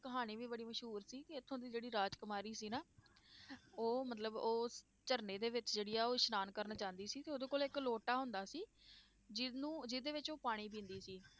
ਕਹਾਣੀ ਵੀ ਬੜੀ ਮਸ਼ਹੂਰ ਸੀ ਕਿ ਇੱਥੋਂ ਦੀ ਜਿਹੜੀ ਰਾਜਕੁਮਾਰੀ ਸੀ ਨਾ ਉਹ ਮਤਲਬ ਉਹ ਝਰਨੇ ਦੇ ਵਿੱਚ ਜਿਹੜੀ ਆ ਉਹ ਇਸਨਾਨ ਕਰਨ ਜਾਂਦੀ ਸੀ ਤੇ ਉਹਦੇ ਕੋਲ ਇੱਕ ਲੋਟਾ ਹੁੰਦਾ ਸੀ, ਜਿਹਨੂੰ ਜਿਹਦੇ ਵਿੱਚ ਉਹ ਪਾਣੀ ਪੀਂਦੀ ਸੀ,